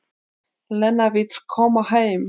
Lena vill koma heim.